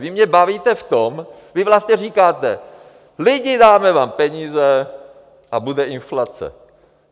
Vy mě bavíte v tom, vy vlastně říkáte: lidi, dáme vám peníze a bude inflace.